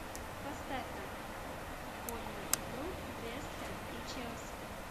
поставь нам футбольную игру вест хэм и челси